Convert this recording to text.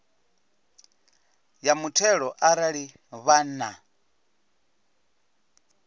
ya muthelo arali vha na